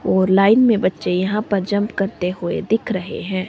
और लाइन में बच्चे यहां पर जंप करते हुए दिख रहे हैं।